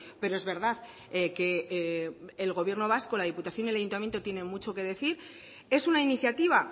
pero es verdad que el gobierno vasco la diputación y el ayuntamiento tiene mucho que decir es una iniciativa